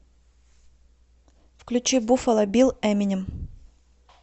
включи буффало билл эминем